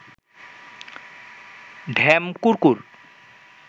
ঢ্যাম কুড়কুড়